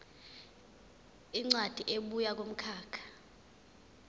incwadi ebuya kumkhakha